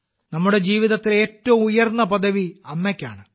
നമ്മുടെ ജീവിതത്തിലെ ഏറ്റവും ഉയർന്ന പദവി അമ്മയ്ക്കാണ്